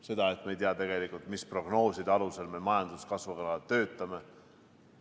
Seda, et me ei tea tegelikult, mis prognooside alusel me majanduskasvuga töötame.